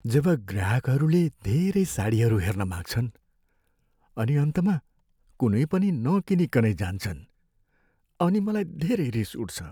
जब ग्राहकहरूले धेरै साडीहरू हेर्न माग्छन् अनि अन्तमा कुनै पनि नकिनीकनै जान्छन् अनि मलाई धेरै रिस उठ्छ।